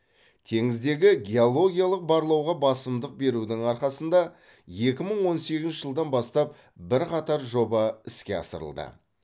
теңіздегі геологиялық барлауға басымдық берудің арқасында екі мың он сегізінші жылдан бастап бірқатар жоба іске асырылды